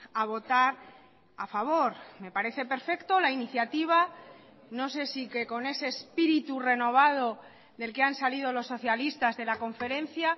a votar a favor me parece perfecto la iniciativa no sé si que con ese espíritu renovado del que han salido los socialistas de la conferencia